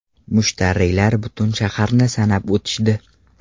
Mushtariylar butun shaharni sanab o‘tishdi.